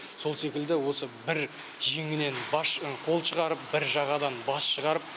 сол секілді осы бір жеңнен бас қол шығарып бір жағадан бас шығарып